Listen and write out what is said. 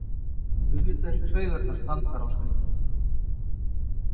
Auðvitað eru taugarnar þandar á stundum